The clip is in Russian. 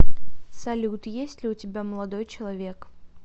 салют есть ли у тебя молодой человек